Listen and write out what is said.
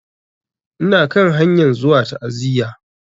Ina kan hanyan zuwa ta'aziya.